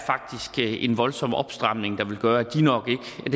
en voldsom opstramning der vil gøre at det nok